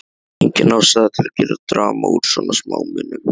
Engin ástæða til að gera drama úr svona smámunum.